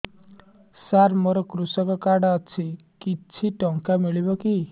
ସାର ମୋର୍ କୃଷକ କାର୍ଡ ଅଛି କିଛି ଟଙ୍କା ମିଳିବ କି